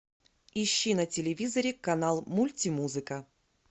ищи на телевизоре канал мульти музыка